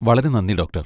വളരെ നന്ദി, ഡോക്ടർ.